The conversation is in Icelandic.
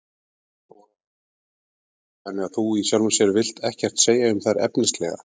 Þóra Arnórsdóttir: Þannig að þú í sjálfu sér vilt ekkert segja um þær efnislega?